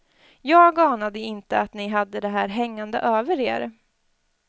Jag anade inte att ni hade det här hängande över er.